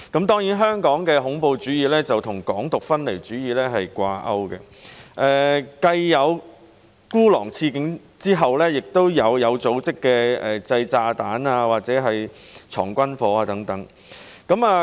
當然，香港的恐怖主義跟"港獨"分離主義掛鈎，繼孤狼刺警後，又出現有組織的製造炸彈和收藏軍火等案件。